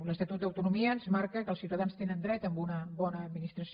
l’estatut d’autonomia ens marca que els ciutadans tenen dret a una bona administració